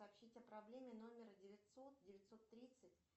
сообщить о проблеме номера девятьсот девятьсот тридцать